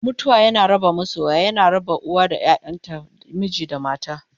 mutuwa na raba masoya, yana raba uwa da ƴaƴanta, miji da mata